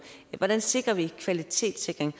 hvordan sikrer vi kvalitetssikring